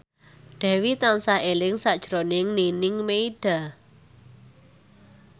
Dewi tansah eling sakjroning Nining Meida